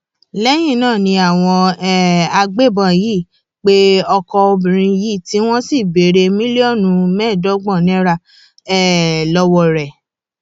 lẹyìn náà ni àwọn um agbébọn yìí pe ọkọ obìnrin yìí tí wọn sì béèrè mílíọnù mẹẹẹdọgbọn náírà um lọwọ rẹ